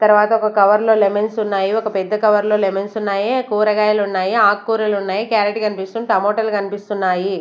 తర్వాత ఒక కవర్ లో లెమన్స్ ఉన్నాయి ఒక పెద్ద కవర్ లో లెమన్స్ ఉన్నాయి కూరగాయలున్నాయి ఆకుకూరలున్నాయి క్యారెట్ కనిపిస్తుంది టమాటా లు కన్పిస్తున్నాయి.